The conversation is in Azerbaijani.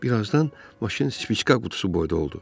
Bir azdan maşın spiçka qutusu boyda oldu.